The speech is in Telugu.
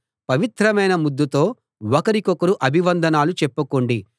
పవిత్రమైన ముద్దుతో ఒకరికొకరు అభివందనాలు చెప్పుకోండి